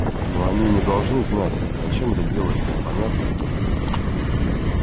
но они не должны знать зачем это делается понятно